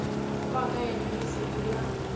wa ka yena lesedi la